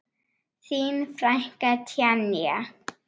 Þín frænka Tanja.